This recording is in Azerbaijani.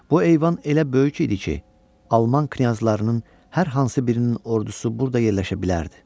Bu eyvan elə böyük idi ki, Alman knyazlarının hər hansı birinin ordusu burada yerləşə bilərdi.